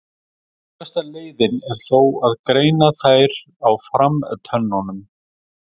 Öruggasta leiðin er þó að greina þær á framtönnunum.